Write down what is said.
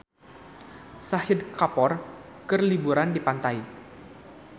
Shahid Kapoor keur liburan di pantai